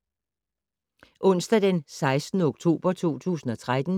Onsdag d. 16. oktober 2013